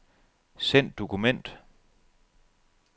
Send dokument.